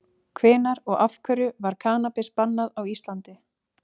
Hvenær og af hverju var kannabis bannað á Íslandi?